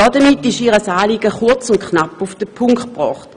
Damit wird ihr Anliegen kurz und knapp auf den Punkt gebracht.